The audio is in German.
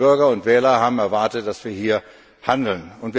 Die Bürger und Wähler haben erwartet, dass wir hier handeln.